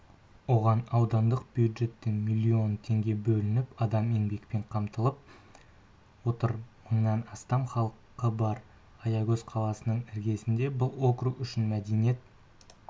оған аудандық бюджеттен миллион теңге бөлініп адам еңбекпен қамтылып отыр мыңнан астам халқы бар аягөз қаласының іргесінде бұл округ үшін мәдениет